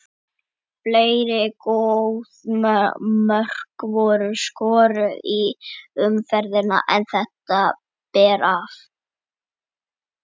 Fleiri góð mörk voru skoruð í umferðinni en þetta ber af.